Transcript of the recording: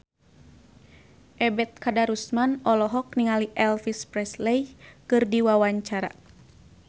Ebet Kadarusman olohok ningali Elvis Presley keur diwawancara